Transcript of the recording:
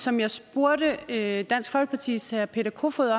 som jeg spurgte dansk folkepartis herre peter kofod